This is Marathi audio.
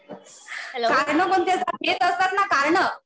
कारणं कोणती असतात. हेच असतात ना कारणं.